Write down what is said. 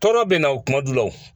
Tɔɔrɔ bɛ na o kuma du la o.